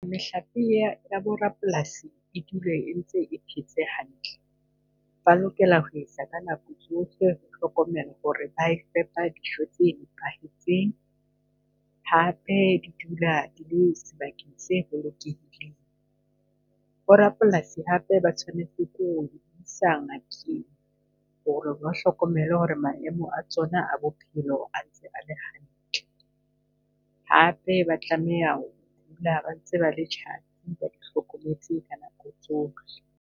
Mehlape ya ya bo rapolasi e dule e ntse e phetse hantle. Ba lokela ho isa ka nako tsohle hlokomelo hore ba e fepa dijo tse nepahetseng, hape di dula di le sebakeng se bolokehileng. Bo rapolasi hape ba tshwanetse ko ho di isa Nkeng hore ba hlokomele hore maemo a tsona a bophelo a ntse a le hantle. Hape ba tlameha ho dula ba ntse ba le tjhatsi ba di hlokometse ka nako tsohle.